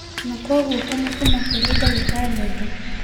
Na koguo kũmũtũma kũrĩ ndagĩtarĩ ũngĩ